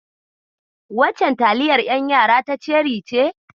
Waccen taliyar ƴan yara ta ceri ce?